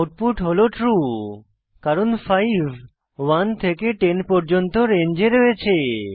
output হল true কারণ 5 1 থেকে 10 পর্যন্ত রেঞ্জে রয়েছে